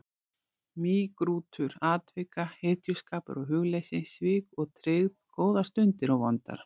Mýgrútur atvika, hetjuskapur og hugleysi, svik og tryggð, góðar stundir og vondar.